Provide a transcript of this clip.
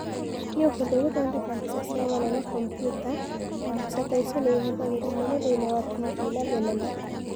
Nĩ ũhũthũ gũthondeka mbica cia ng'ano na kompiuta, na mbica ta icio nĩ ihũthagĩrũo mũno thĩinĩ wa TiVi na thenema.